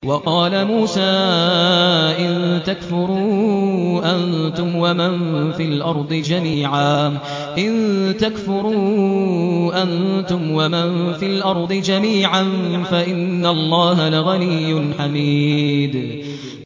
وَقَالَ مُوسَىٰ إِن تَكْفُرُوا أَنتُمْ وَمَن فِي الْأَرْضِ جَمِيعًا فَإِنَّ اللَّهَ لَغَنِيٌّ حَمِيدٌ